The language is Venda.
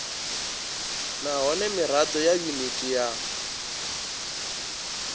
nahone mirado ya yuniti ya